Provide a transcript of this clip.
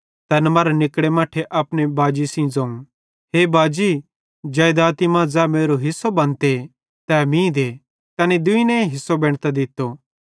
तैन मरां निकड़े मट्ठे अपने बव्वे सेइं ज़ोवं हे बाजी जेइदाती मां ज़ै मेरो हिस्सो बनते तै मीं दे तैनी दुइने हिस्सो बेंटतां दित्तो